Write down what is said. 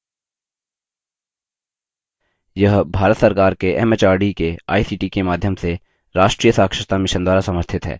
यह भारत सरकार के एमएचआरडी के आईसीटी के माध्यम से राष्ट्रीय साक्षरता mission द्वारा समर्थित है